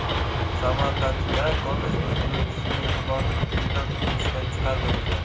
Samarqandda kollej bitiruvchisi mehribonlik uyidan turmushga chiqarildi .